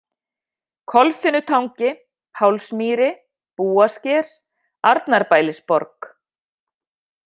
Kolfinnutangi, Pálsmýri, Búasker, Arnarbælisborg